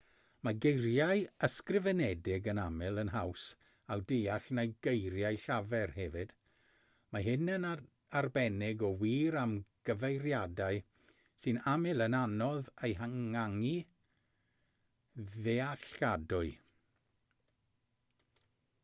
mae geiriau ysgrifenedig yn aml yn haws eu deall na geiriau llafar hefyd mae hyn yn arbennig o wir am gyfeiriadau sy'n aml yn anodd eu hynganu'n ddealladwy